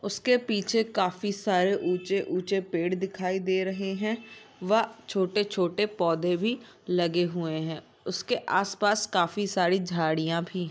उसके पीछे काफी सारे ऊँचे-ऊँचे पेड़ दिखाई दे रहे हैं व छोटे-छोटे पौधे भी लगे हुए हैं उसके आस-पास काफी सारी झाड़ियां भी --